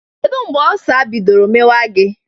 Kedu mgbe Ọlsa bidọrọ mewa gi?